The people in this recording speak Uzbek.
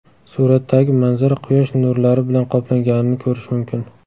Suratdagi manzara quyosh nurlari bilan qoplanganini ko‘rish mumkin.